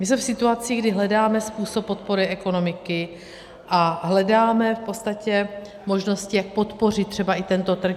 My jsme v situaci, kdy hledáme způsob podpory ekonomiky a hledáme v podstatě možnosti, jak podpořit třeba i tento trh.